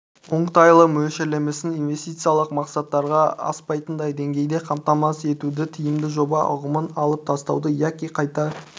оңтайлы мөлшерлемесін инвестициялық мақсаттарға аспайтындай деңгейде қамтамасыз етуді тиімді жоба ұғымын алып тастауды яки қайта